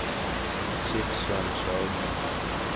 Sidsel Sagen